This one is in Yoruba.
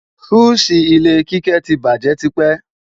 Fúùsì ilé Kíkẹ́ ti bàjé tipẹ́